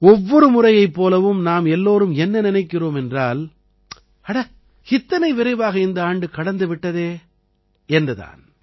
ஒவ்வொரு முறையைப் போலவும் நாம் எல்லோரும் என்ன நினைக்கிறோம் என்றால் அட இத்தனை விரைவாக இந்த ஆண்டு கடந்து விட்டதே என்று தான்